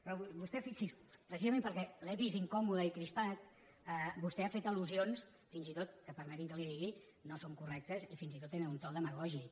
però vostè fixi s’hi precisament perquè l’he vist incòmode i crispat ha fet al·lusions que fins i tot permeti’m que li ho digui no són correctes i fins i tot tenen un to demagògic